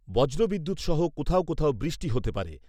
বজ্র বিদ্যুৎ সহ কোথাও কোথাও বৃষ্টি হতে পারে।